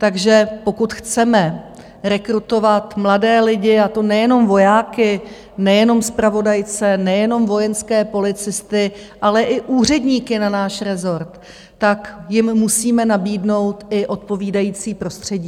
Takže pokud chceme rekrutovat mladé lidi, a to nejenom vojáky, nejenom zpravodajce, nejenom vojenské policisty, ale i úředníky na náš rezort, tak jim musíme nabídnout i odpovídající prostředí.